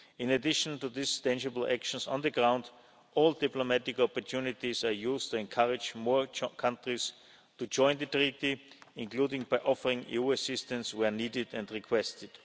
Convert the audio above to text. In addition to these tangible actions on the ground all diplomatic opportunities are used to encourage more countries to join the Treaty, including by offering EU assistance where needed and requested.